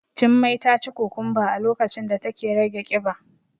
Jummai taci kukumba a lokacin da take rage kiba.